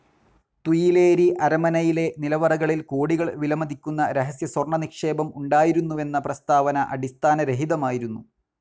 Tuileries അരമനയിലെ നിലവറകളിൽ കോടികൾ വിലമതിക്കുന്ന രഹസ്യസ്വർണ്ണനിക്ഷേപം ഉണ്ടായിരുന്നുവെന്ന പ്രസ്താവന അടിസ്ഥാനരഹിതമായിരുന്നു.